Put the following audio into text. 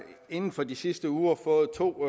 inden for de sidste uger fået to